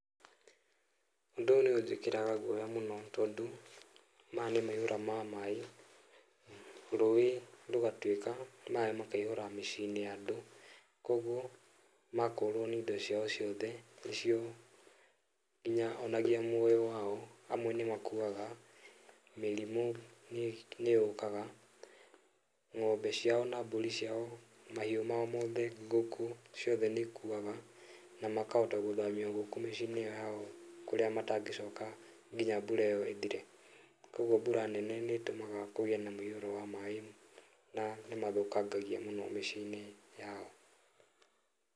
Ũndũ ũyũ nĩ ũnjĩkĩraga guoya mũno, tondũ maya nĩ maihũra ma maĩ, rũĩ rũgatuĩka maĩ makaihũra mĩciĩ-inĩ ya andũ, koguo makorwo nĩ indo ciao ciothe nĩcio nginya onagia muoyo wao, amwe nĩ makuaga, mĩrimũ nĩ yũkaga, ng'ombe ciao na mbũri ciao, mahiũ mao mothe, ngũkũ ciothe nĩ ikuaga, na makahota gũthamio gũkũ mĩciĩ-inĩ yao kũrĩa matangĩcoka nginya mbura ĩyo ĩthire, koguo mbura nene nĩ ĩtũmaga kũgĩe na mũiyũro wa maĩ na nĩ mathũkangagia mũno mĩciĩ-inĩ yao.